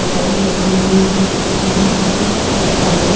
कटाई लगी हुई है यहां पर कुछ सॉफ्टाई भी--